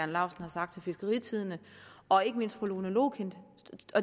laustsen har sagt til fiskeritidende og ikke mindst fra fru lone loklindt